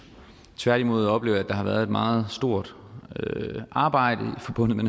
tværtimod oplever jeg at der har været et meget stort arbejde forbundet med